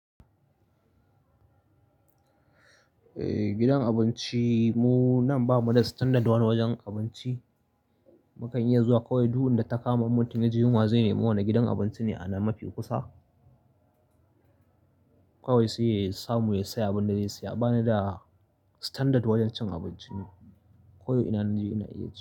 Eh, gidan abinci mu nan bamu da standard wani wajen abinci. Mukan iya zuwa kawai duk inda ta kama mutum yaji yunwa zai nema wani gidan abinci ne a nan mafi kusa. Kawai sai ya samu ya saya abin da zai siya bana da standard wajen cin abinci ni. Ko ina na je ina iya ci.